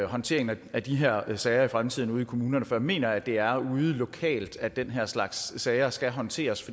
håndteringen af de her sager i fremtiden ude i kommunerne for jeg mener at det er ude lokalt at den her slags sager skal håndteres